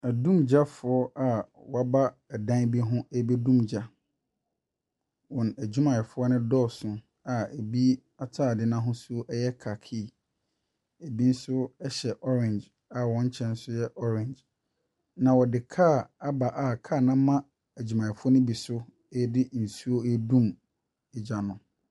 Odumgyafoɔ bi awɔaba dan bi ho rebedum gya. Wɔn adwumayɛfoɔ no dɔɔso a ebi ataadeɛ no ahosu yɛ kakii, ebi nso yɛ orange. Na wɔde car aba a car no ama adwumayɛfo de nsuo redum gya no.